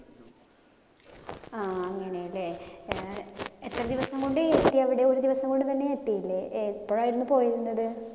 ആഹ് അങ്ങിനെലെ. ഏർ എത്ര ദിവസം കൊണ്ട് എത്തി അവിടെ? ഒരു ദിവസം കൊണ്ടുതന്നെ എത്തിയില്ല? എപ്പോഴായിരുന്നു പോയിരുന്നത്?